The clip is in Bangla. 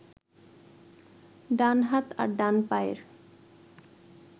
ডান হাত আর ডান পায়ের